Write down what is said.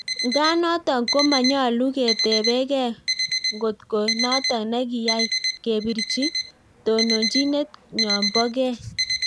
Ngaa notok konyaluunat ketepekee ngotkoo natok nekiyai kepirchii tononchinet nyoon poo gei